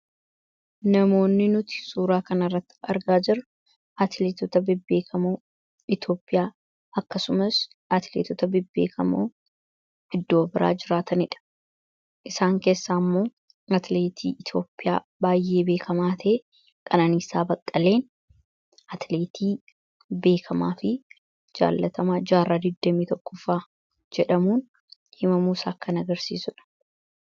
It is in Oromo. Namoonni nuti suuraa kan irratti argaa jiru atileetota bibbeekamoo iitoopiyaa akkasumas atileetota bibbeekamoo hiddoo biraa jiraataniidha isaan keessaa ammoo atileetii iitoopiyaa baay'ee beekamaatee qananiisaa baqqaleen atileetii beekamaa fi jaalatama jaarraa 21fa jedhamuun himamuusa akkan agarsiisudha.